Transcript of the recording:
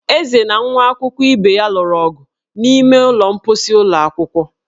Eze na nwa akwụkwọ ibe ya lụrụ ọgụ n'ime ụlọ mkposi ụlọ akwụkwọ